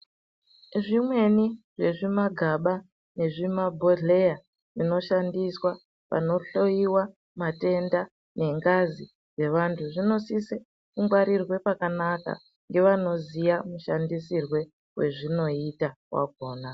Zvimweni zvezvi magaba nezvi ma bhodhleya zvino shandiswa pano hloyiwa matenda ne ngazi dze vantu zvino sise ku ngwarirwe pakanaka nge vanoziya mu shandisirwe we zvinoita wakona.